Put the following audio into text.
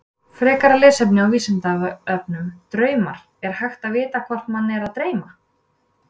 Frekara lesefni á Vísindavefnum Draumar Er hægt að vita hvort mann er að dreyma?